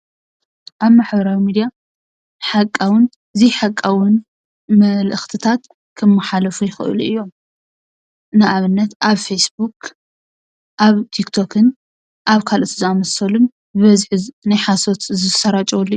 ኣብ ማሕበራዊ ሚድያ ሓቃውን ዘይሓቃውን መልእኽትታት ክመሓላለፉ ይኽእሉ እዮም፡፡ ንኣብነት ኣብ ፌስቡክ፣ ኣብ ቲክቶክን ኣብ ካልኦት ዝኣምሰሉ ብበዝሒ ናይ ሓሶት ዝሰራጨወሉ እዮም፡